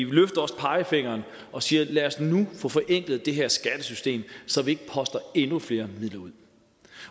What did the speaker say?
vi løfter også pegefingeren og siger at lad os nu få forenklet det her skattesystem så vi ikke poster endnu flere midler ud